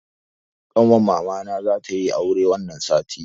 Ƙanwar mamana za tayi aure wani sati.